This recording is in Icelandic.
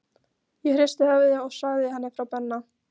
Ég hristi höfuðið og sagði henni frá Benna.